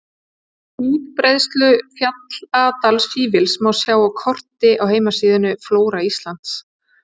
Útbreiðslu fjalldalafífils má sjá á korti á heimasíðunni Flóra Íslands.